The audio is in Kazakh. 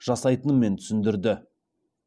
жасайтынымен түсіндірді